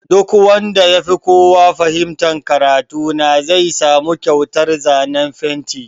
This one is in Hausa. Duk wanda ya fi kowa fahimtan karatu na zai samu kyautar zanen fenti.